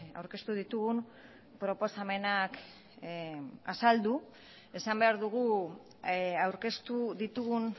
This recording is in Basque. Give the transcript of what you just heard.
aurkeztu ditugun proposamenak azaldu esan behar dugu aurkeztu ditugun